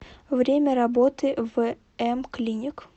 время работы вм клиник